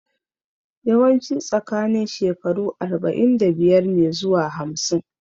Yawanci tsakanin shekaru arba'in da biyar ne zuwa hamsin